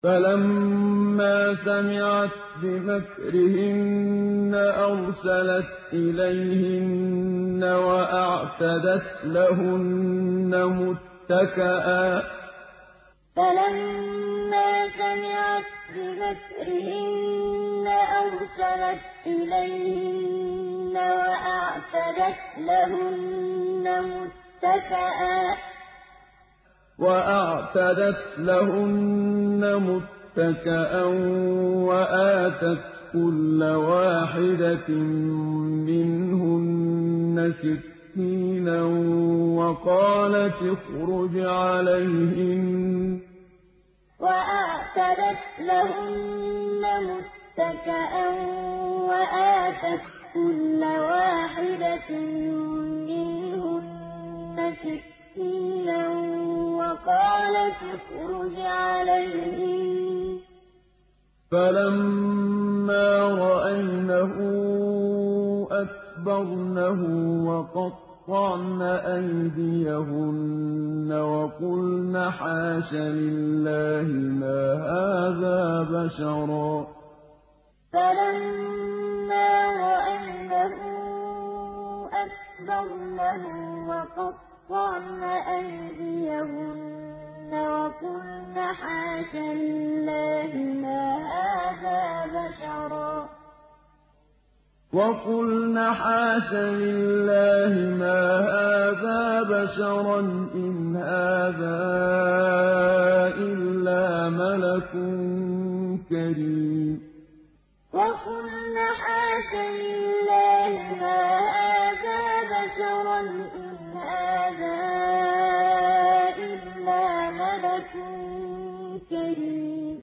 فَلَمَّا سَمِعَتْ بِمَكْرِهِنَّ أَرْسَلَتْ إِلَيْهِنَّ وَأَعْتَدَتْ لَهُنَّ مُتَّكَأً وَآتَتْ كُلَّ وَاحِدَةٍ مِّنْهُنَّ سِكِّينًا وَقَالَتِ اخْرُجْ عَلَيْهِنَّ ۖ فَلَمَّا رَأَيْنَهُ أَكْبَرْنَهُ وَقَطَّعْنَ أَيْدِيَهُنَّ وَقُلْنَ حَاشَ لِلَّهِ مَا هَٰذَا بَشَرًا إِنْ هَٰذَا إِلَّا مَلَكٌ كَرِيمٌ فَلَمَّا سَمِعَتْ بِمَكْرِهِنَّ أَرْسَلَتْ إِلَيْهِنَّ وَأَعْتَدَتْ لَهُنَّ مُتَّكَأً وَآتَتْ كُلَّ وَاحِدَةٍ مِّنْهُنَّ سِكِّينًا وَقَالَتِ اخْرُجْ عَلَيْهِنَّ ۖ فَلَمَّا رَأَيْنَهُ أَكْبَرْنَهُ وَقَطَّعْنَ أَيْدِيَهُنَّ وَقُلْنَ حَاشَ لِلَّهِ مَا هَٰذَا بَشَرًا إِنْ هَٰذَا إِلَّا مَلَكٌ كَرِيمٌ